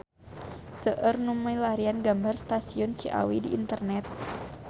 Seueur nu milarian gambar Stasiun Ciawi di internet